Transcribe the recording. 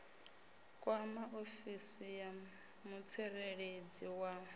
kwama ofisi ya mutsireledzi wa